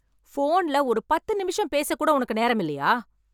ஃபோன்ல ஒரு பத்து நிமிஷம் உனக்கு பேசக்கூட உனக்கு நேரமில்லையா?